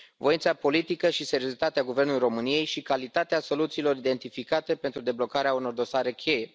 Voința politică și seriozitatea guvernului României și calitatea soluțiilor identificate pentru deblocarea unor dosare cheie.